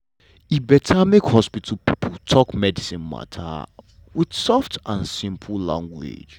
e beta make hospital pipo talk medicine mata wit soft and simple language.